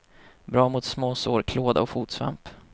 Bra mot småsår, klåda och fotsvamp.